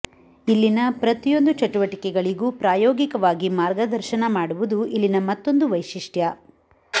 ಇಲ್ಲಿನ ಪ್ರತಿಯೊಂದು ಚಟುವಟಿಕೆಗಳಿಗೂ ಪ್ರಾಯೋಗಿಕವಾಗಿ ಮಾರ್ಗದರ್ಶನ ಮಾಡುವುದು ಇಲ್ಲಿನ ಮತ್ತೊಂದು ವೈಶಿಷ್ಟ್ಯ